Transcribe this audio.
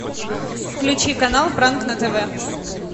включи канал пранк на тв